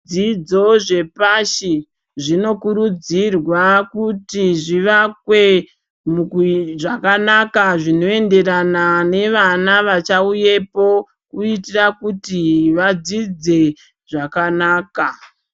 Dzidzo dzepashi dzinokurudzirwa kuti zvivakwe zvakanaka zvinoenderana nevana vachauyapo kuitira kuti vadzidze zvakanaka.